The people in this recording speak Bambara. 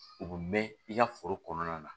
U bɛ mɛn i ka foro kɔnɔna na